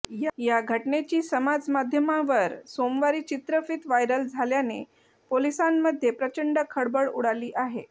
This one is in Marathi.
या घटनेची समाजमाध्यमांवर सोमवारी चित्रफित व्हायरल झाल्याने पोलिसांमध्ये प्रचंड खळबळ उडाली आहे